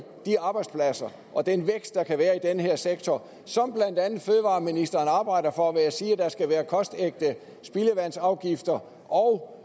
de arbejdspladser og den vækst der kan være i den her sektor som blandt andet fødevareministeren arbejder for ved at sige at der skal være kostægte spildevandsafgifter og